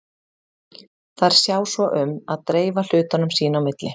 Þær sjá svo um að dreifa hlutunum sín á milli.